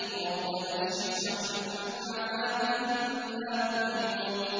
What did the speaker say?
رَّبَّنَا اكْشِفْ عَنَّا الْعَذَابَ إِنَّا مُؤْمِنُونَ